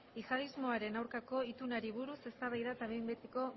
jihadismoaren aurkako itunari buruz eztabaida eta behin betiko